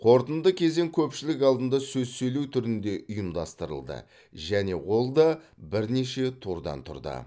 қорытынды кезең көпшілік алдында сөз сөйлеу түрінде ұйымдастырылды және ол да бірнеше турдан тұрды